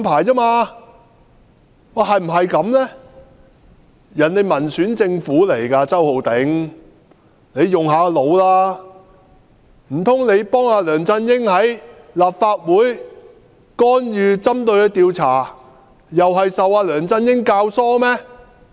台灣政府是民選政府，周浩鼎議員，請你動動腦筋，難道你幫梁振英在立法會干預調查，又是受到梁振英教唆嗎？